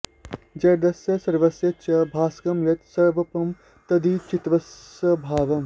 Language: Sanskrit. जडस्य सर्वस्य च भासकं यत् स्वयम्प्रभं तद्धि चितिस्वभावम्